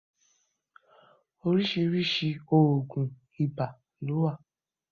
Oríṣiríṣi òògùn ibà ló wà.